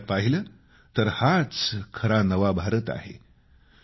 प्रत्यक्षात पाहिलं तर हाच खरा नव भारत आहे